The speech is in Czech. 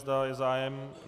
Zda je zájem?